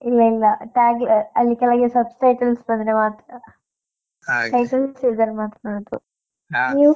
ಇಲ್ಲ ಇಲ್ಲ tag ಅಲ್ಲಿ ಕೆಳಗೆ subtitles ಬಂದ್ರೆ ಮಾತ್ರ. ಇದ್ರೆ ಮಾತ್ರ ನೋಡುದು. ನೀವು?